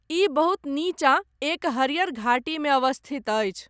ई बहुत नीचाँ एक हरियर घाटीमे अवस्थित अछि।